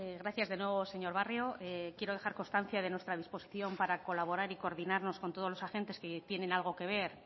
gracias de nuevo señor barrio quiero dejar constancia de nuestra disposición para colaborar y coordinarnos con todos los agentes que tienen algo que ver